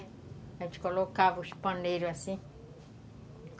A gente colocava os paneiros assim.